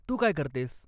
तू काय करतेस?